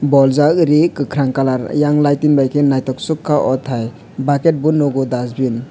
boljak ree kakrang kalar eiang lighting by ke nythok suka aw Thai bucket bo nugo aw dustbin.